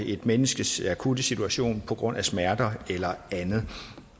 et menneskes akutte situation på grund af smerter eller andet